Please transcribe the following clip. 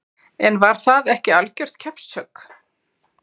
En var það ekki algjört kjaftshögg?